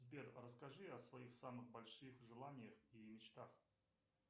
сбер расскажи о своих самых больших желаниях и мечтах